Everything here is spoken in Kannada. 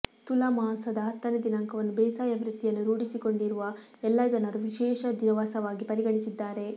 ತುಲಾ ಮಾಸದ ಹತ್ತನೇ ದಿನಾಂಕವನ್ನು ಬೇಸಾಯ ವೃತ್ತಿಯನ್ನು ರೂಢಿಸಿಕೊಂಡಿರುವ ಎಲ್ಲಾ ಜನರು ವಿಶೇಷ ದಿವಸವಾಗಿ ಪರಿಗಣಿಸಿದ್ದಾರೆ